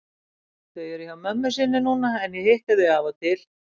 Þau eru hjá mömmu sinni núna en ég hitti þau af og til.